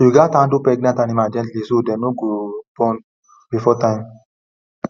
you gatz handle pregnant animal gently so dem no go born before time